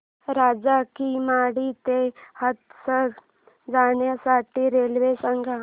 राजा की मंडी ते हाथरस जाण्यासाठी रेल्वे सांग